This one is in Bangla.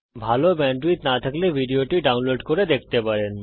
ভাল ব্যান্ডউইডথ না থাকলে আপনি ভিডিওটি ডাউনলোড করে দেখতে পারেন